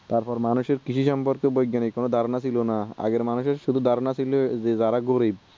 তারপরে মানুষ এর কৃষি সম্পর্কে বৈজ্ঞানিক কোনো ধারণা ছিল না আগের মানুষ এর শুধু ধারণা ছিল যে যারা গরিব